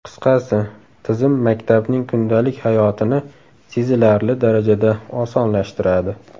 Qisqasi, tizim maktabning kundalik hayotini sezilarli darajada osonlashtiradi.